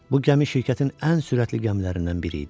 Bu gəmi şirkətin ən sürətli gəmilərindən biri idi.